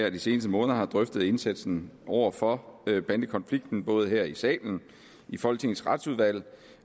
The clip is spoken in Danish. af de seneste måneder har drøftet indsatsen over for bandekonflikten både her i salen i folketingets retsudvalg